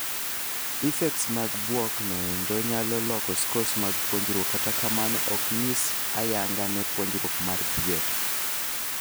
Effects mag bwok no endo nyalo loko scores mag puonjruok kata kamano oknyis ayanga ne puonjruok mar dhier.